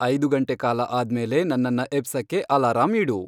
ಐದು ಗಂಟೆ ಕಾಲ ಆದ್ಮೇಲೆ ನನ್ನನ್ನ ಎಬ್ಸಕ್ಕೆ ಅಲಾರಂ ಇಡು